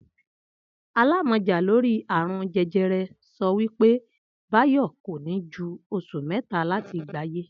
Alámò̩já lórí àrùn je̩je̩re̩ so̩ wí pé Báyò̩ kò ní ju os̩ù mé̩ta láti gbáyé